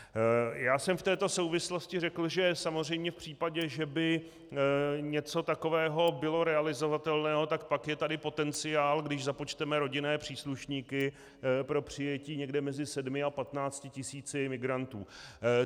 Já jsem v této souvislosti řekl, že samozřejmě v případě, že by něco takového bylo realizovatelné, tak pak je tady potenciál, když započteme rodinné příslušníky, pro přijetí někde mezi 7 a 15 tisíci migrantů.